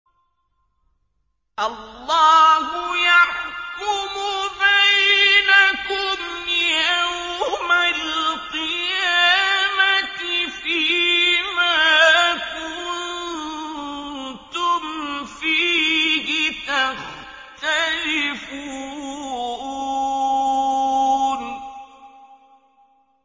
اللَّهُ يَحْكُمُ بَيْنَكُمْ يَوْمَ الْقِيَامَةِ فِيمَا كُنتُمْ فِيهِ تَخْتَلِفُونَ